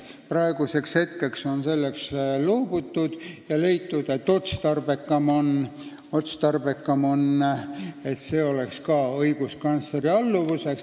Praeguseks on sellest loobutud ja leitud, et otstarbekam on, kui ka see on õiguskantsleri ülesanne.